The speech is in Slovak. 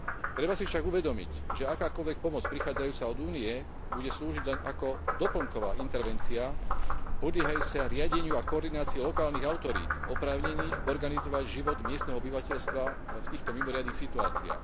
Treba si však uvedomiť, že akákoľvek pomoc prichádzajúca od Únie bude slúžiť len ako doplnková intervencia podliehajúca riadeniu a koordinácii lokálnych autorít oprávnených organizovať život miestneho obyvateľstva v týchto mimoriadnych situáciách.